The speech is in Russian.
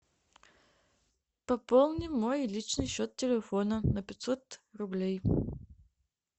пополни мой личный счет телефона на пятьсот рублей